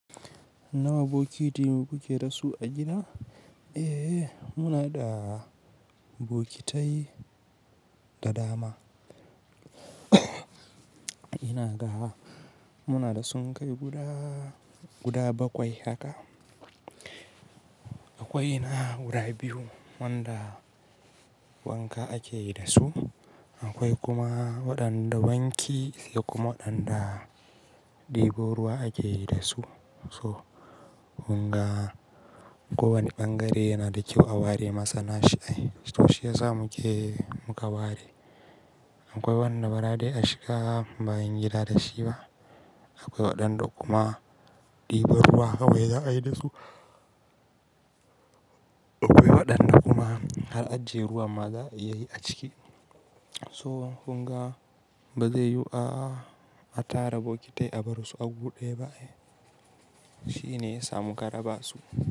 Nawa bokiti kuke dasu a gida? Eh muna da bokitai da dama. Ina ga muna da sunkai guda, guda bakwai haka. Akwai na wurare biyu wanda wanka akeyi da su, akwai kuma waɗanda wanki sai kuma waɗanda ɗebo ruwa akeyi da su. So kunga ko wani ɓangare yana da kyau a ware masa nashi ai, to shi yasa mu ke muka ware. Akwai wanda bara dai a shiga bayan gida da shi ba, akwai waɗanda kuma ɗebo ruwa kawai za a yi da su. Akwai waɗanda kuma har ajje ruwa ma za iyayi a ciki. To kunga ba zai yiwu a, a tara bokitai a bar su a gu ɗaya ba eh, shi ne ya sa muka raba su.